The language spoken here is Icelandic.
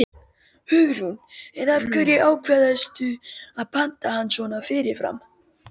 Hugrún: En af hverju ákvaðstu að panta hann svona fyrirfram?